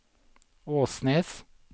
Åsnes